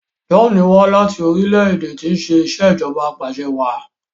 John wá láti orílẹ̀-èdè tí ṣe Ìṣèjọba Apàṣẹwàá